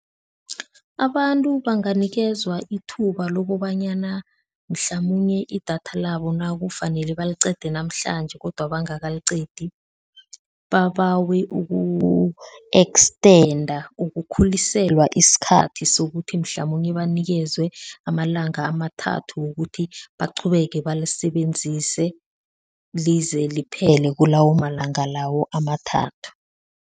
Abantu banganikezwa ithuba lokobanyana mhlamunye idatha labo nakufanele baliqede namhlanje kodwa bangakaliqedi, babawe uku-extenda, ukukhuliselwa isikhathi sokuthi mhlamunye banikezwe amalanga amathathu wokuthi baqhubeke balisebenzise lize liphele kulawo malanga lawo amathathu.